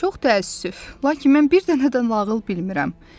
Çox təəssüf, lakin mən bir dənə də nağıl bilmirəm.